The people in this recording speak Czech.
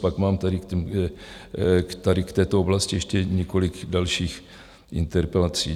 Pak mám tady k této oblasti ještě několik dalších interpelací.